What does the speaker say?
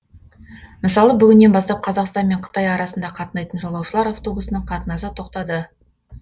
мысалы бүгіннен бастап қазақстан мен қытай арасында қатынайтын жолаушылар автобусының қатынасы тоқтады